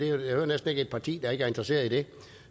jeg hører næsten ikke et parti der ikke er interesseret i det